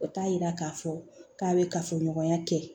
O t'a yira k'a fɔ k'a bɛ kafoɲɔgɔnya kɛ